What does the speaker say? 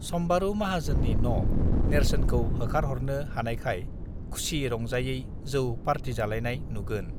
सम्बारू माहाजोननि न नेर्सोनखौ होखारहरनो हानायखाय खुसि रंजायै जौ पार्टिजालायनाय नुगोन